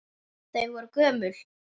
Þau voru gömul.